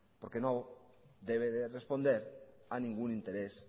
porque no debe responder a ningún interés